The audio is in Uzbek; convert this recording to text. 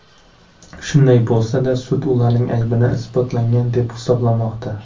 Shunday bo‘lsa-da, sud ularning aybini isbotlangan deb hisoblamoqda.